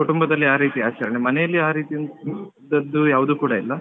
ಕುಟುಂಬದಲ್ಲಿ ಆ ರೀತಿ ಆಚರಣೆ ಮನೆಯಲ್ಲಿ ಆ ರೀತಿ ಇಂತದ್ದು ಯಾವ್ದು ಕೂಡ ಇಲ್ಲ.